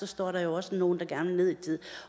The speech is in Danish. står der jo også nogle der gerne vil ned i tid